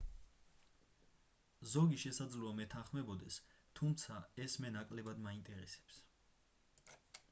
ზოგი შესაძლოა მეთანხმებოდეს თუმცა ეს მე ნაკლებად მაინტერესებს